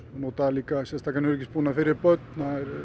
nota sérstakan öryggisbúnað fyrir börn